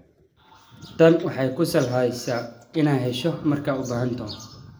Tani waxay kuu sahlaysaa inaad hesho markaad u baahato.